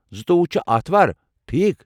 زٕتووُہ چھِ اتھوار، ٹھیكھ؟